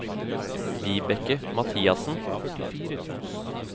Vibeke Mathiassen